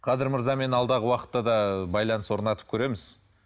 қадыр мырзамен алдағы уақытта да ы байланыс орнатып көреміз